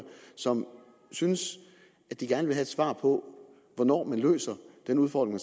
som synes at de gerne vil have et svar på hvornår man løser den udfordring